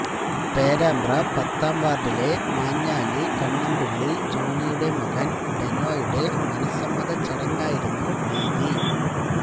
പേരാമ്പ്ര പത്താംവാർഡിലെ മാഞ്ഞാലി കണ്ണംപിള്ളി ജോണിയുടെ മകൻ ഡെനോയുടെ മനസ്സമ്മതച്ചടങ്ങായിരുന്നു വേദി